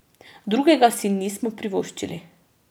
Drugega si nismo privoščili.